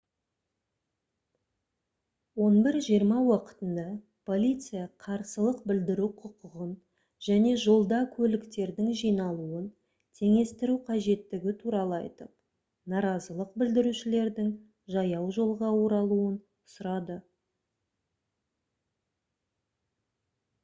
11:20 уақытында полиция қарсылық білдіру құқығын және жолда көліктердің жиналуын теңестіру қажеттігі туралы айтып наразылық білдірушілердің жаяужолға оралуын сұрады